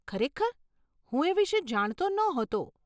ખરેખર? હું એ વિષે જાણતો નહોતો.